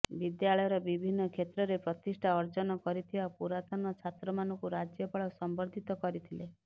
ବିଦ୍ୟାଳୟର ବିଭିନ୍ନ କ୍ଷେତ୍ରରେ ପ୍ରତିଷ୍ଠା ଅର୍ଜନ କରିଥିବା ପୁରାତନ ଛାତ୍ରମାନଙ୍କୁ ରାଜ୍ୟପାଳ ସମ୍ବର୍ଦ୍ଧିତ କରିଥିଲେ